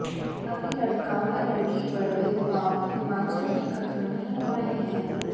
अभी लड़का व लड़की पर भेदभाव हिमाचल में खत्म नहीं हो रहे हैं